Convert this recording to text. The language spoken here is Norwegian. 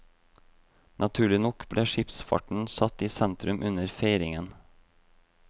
Naturlig nok ble skipsfarten satt i sentrum under feiringen.